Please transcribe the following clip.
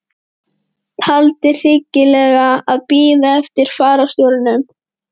Taldi hyggilegra að bíða eftir fararstjóranum.